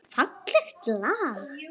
Fallegt lag.